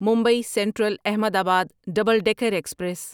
Mumbai central Ahmedabad double decker express